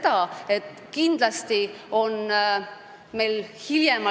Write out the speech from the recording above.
Ta peab viie aastaga oma lubadused ellu viima.